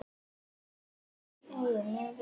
Mæna heyið mjög vel hygg.